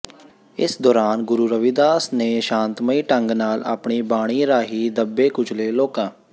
ਇਸ ਦੌਰਾਨ ਗੁਰੂ ਰਵਿਦਾਸ ਨੇ ਸ਼ਾਂਤਮਈ ਢੰਗ ਨਾਲ ਆਪਣੀ ਬਾਣੀ ਰਾਹੀਂ ਦੱਬੇ ਕੁਚਲੇ ਲੋਕਾ